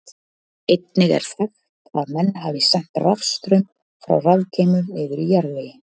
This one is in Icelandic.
Einnig er þekkt að menn hafi sent rafstraum frá rafgeymum niður í jarðveginn.